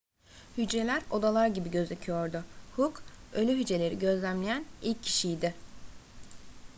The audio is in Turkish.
hücreler odalar gibi gözüküyordu hooke ölü hücreleri gözlemleyen ilk kişiydi